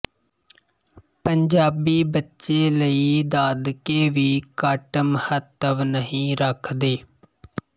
ਪੰਜਾਬੀ ਬੱਚੇ ਲਈ ਦਾਦਕੇ ਵੀ ਘੱਟ ਮਹੱਤਵ ਨਹੀਂ ਰੱਖਦੇ